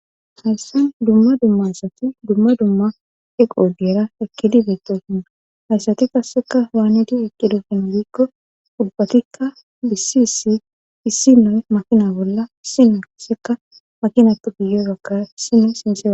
hayssan dumma dummasati dumma dumma eqo deera eqkidi beetto sunna hayssati kasseka hwaanidi eqqidofen biikko ubbakikka bhisi issi issi noy makina bolla sine asseka makinattu giyorakka sino sinceae